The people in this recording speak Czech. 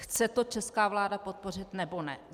Chce to česká vláda podpořit, nebo ne?